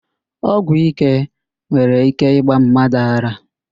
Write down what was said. Ọgwụíké nwere íké ịgba mmadụ ara